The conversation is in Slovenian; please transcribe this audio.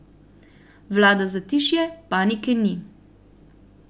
Vlada zatišje, panike ni.